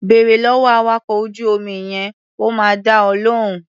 Bèrè lọ́wọ́ awakọ̀ ojú-omi yẹn, ó máa dá ọ lóhùn.